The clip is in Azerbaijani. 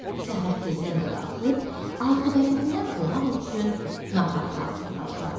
Səhər tezdən də qalxıb azuqələrindən qonaq üçün nahar hazırlatdılar.